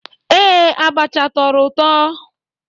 Ee, abacha tọrọ ụtọ.